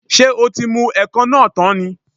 Ṣé o tí mu ẹ̀kọ náà tán ni?